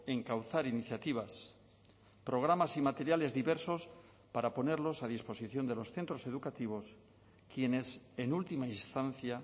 encauzar iniciativas programas y materiales diversos para ponerlos a disposición de los centros educativos quienes en última instancia